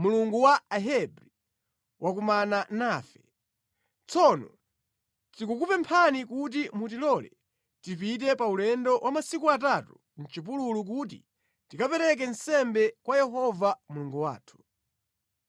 Mulungu wa Ahebri, wakumana nafe. Tsono tikukupemphani kuti mutilole tipite pa ulendo wa masiku atatu mʼchipululu kuti tikapereke nsembe kwa Yehova Mulungu wathu.’